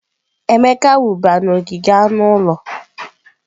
Emeka wụba n'ogige anụ ụlọ.